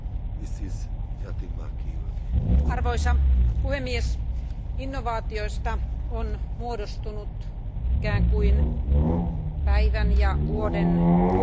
Arvoisa puhemies, innovaatioista on muodostunut ikään kuin päivän ja vuoden muotisana, taikasauva.